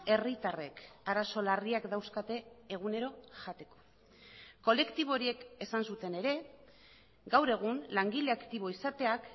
herritarrek arazo larriak dauzkate egunero jateko kolektibo horiek esan zuten ere gaur egun langile aktibo izateak